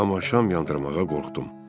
Amma şam yandırmağa qorxdum.